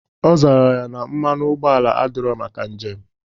Ọ zara ya na mmanụ ụgbọala adirọ maka njem.